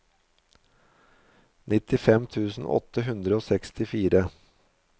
nittifem tusen åtte hundre og sekstifire